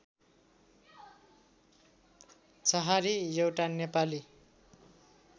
छहारी एउटा नेपाली